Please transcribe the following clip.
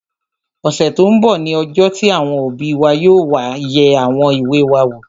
Ọ̀sẹ̀ tó n bọ̀ ní ọjọ́ tí àwọn òbí wa yóò wá yẹ àwọn ìwé wa wò